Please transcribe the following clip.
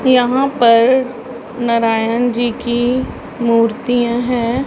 यहां पर नारायण जी की मूर्तियां हैं।